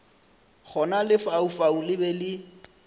gona lefaufau le be le